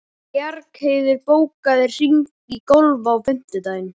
Bjargheiður, bókaðu hring í golf á fimmtudaginn.